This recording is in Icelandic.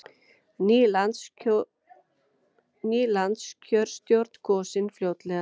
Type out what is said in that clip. Ný landskjörstjórn kosin fljótlega